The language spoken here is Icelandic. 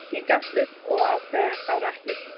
Ég gafst upp og ákvað að klára eplið.